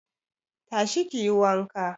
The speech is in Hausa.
Tashi kiyi wanka